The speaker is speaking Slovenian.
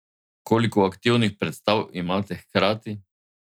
Koliko aktivnih predstav imate hkrati?